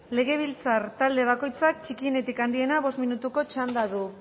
legebiltzar talde bakoitzak txikienetik handienera bost minutuko txanda du